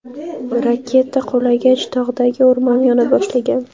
Raketa qulagach tog‘dagi o‘rmon yona boshlagan.